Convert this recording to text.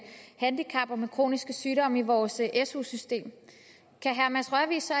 handicap og med kroniske sygdomme i vores su system kan herre mads rørvig så